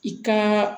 I ka